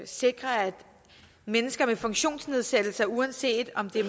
sikre at mennesker med funktionsnedsættelse uanset om det